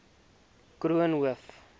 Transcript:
koornhof